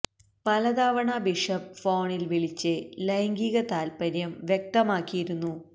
പല തവണ ബിഷപ്പ് ഫോണില് വിളിച്ച് ലൈംഗിക താത്പര്യം വ്യക്തമാക്കിയിരുന്നു